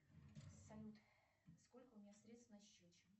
салют сколько у меня средств на счете